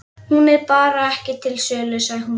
Hún er bara ekki til sölu, sagði hún.